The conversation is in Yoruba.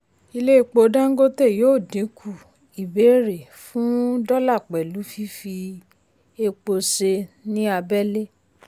ilé epo dangote yóò dínkù ìbéèrè fún dọ́là pẹ̀lú fífi epo ṣe ní abẹ́lé.